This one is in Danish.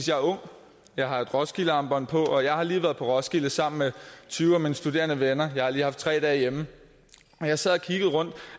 jeg er ung jeg har et roskildearmbånd på og jeg har lige været på roskilde sammen med tyve af mine studerende venner men har lige haft tre dage hjemme og jeg sad og kiggede rundt